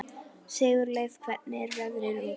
Sigurleif, hvernig er veðrið úti?